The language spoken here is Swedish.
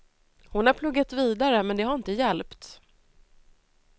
Hon har pluggat vidare, men det har inte hjälpt.